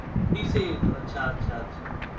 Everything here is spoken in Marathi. तीस एक अच्छा अच्छा अच्छा